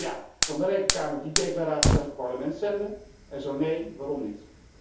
Zo ja, kan de Rekenkamer die declaraties aan het Parlement zenden? En zo nee, waarom niet?